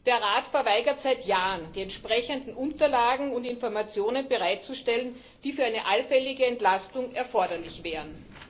Der Rat verweigert seit Jahren, die entsprechenden Unterlagen und Informationen bereitzustellen, die für eine allfällige Entlastung erforderlich wären.